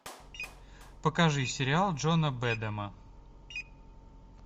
покажи сериал джона бэдэма